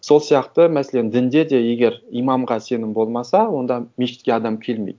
сол сияқты мәселен дінде де егер имамға сенім болмаса онда мешітке адам келмейді